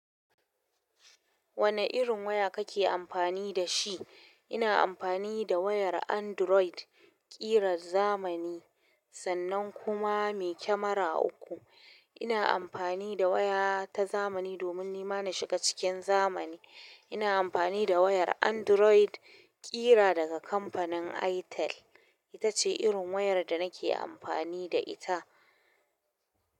Wane irin waya kake amfani da shi? Ina amfani da wayar Android ƙiran zamani sannan kuma mai camera uku. Ina amfani da waya ta zamani domin nima na shiga cikin zamani ina amfani da wayar android ƙira daga kamfanin itel ita ce irin wayar da nake amfani da ita.